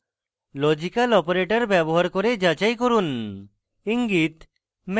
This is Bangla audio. ব্যবহার করে যাচাই করুন